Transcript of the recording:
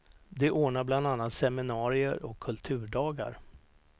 De ordnar bland annat seminarier och kulturdagar.